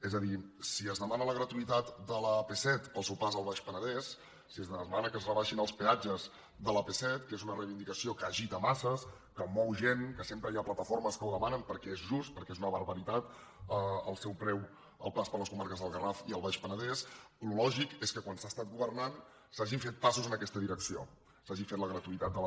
és a dir si es demana la gratuïtat de l’ap set pel seu pas al baix penedès si es demana que es rebaixin els peatges de l’ap set que és una reivindicació que agita masses que mou gent que sempre hi ha plataformes que ho demanen perquè és just perquè és una barbaritat el seu preu al pas per les comarques del garraf i el baix penedès el lògic és que quan s’ha estat governant s’hagin fet passos en aquesta direcció s’hagi fet la gratuïtat de la